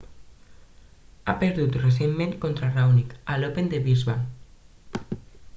ha perdut recentment contra raonic a l'open de brisbane